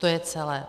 To je celé.